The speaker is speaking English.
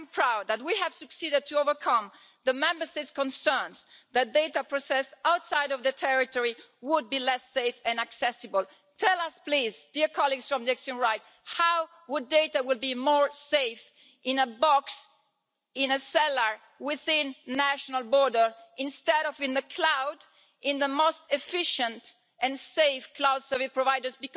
I am proud that we have succeeded in overcoming the Member States' concerns that data process outside of the territory would be less safe and accessible. Tell us please, dear colleagues from the extreme right how would data be safer in a box in a cellar within a national border instead of in the cloud with the most efficient and safe cloud service providers?